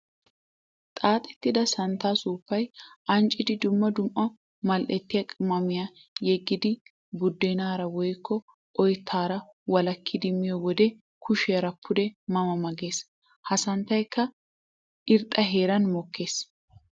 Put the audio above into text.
Xaaxxettidda santta suufayi ancciddi dumma dumma mali'ettiya qimaammiya yeggiddi buddennara woykko oyttara walakkiddi miyo wode kushiyara pude ma ma gees. Ha santtaykka irxxa heeran mokkees.